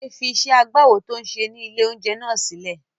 Bọ̀dé fi iṣẹ́ agbáwo tó ń ṣe ní ilé-oúnjẹ náà sílẹ̀.